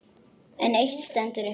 En eitt stendur upp úr.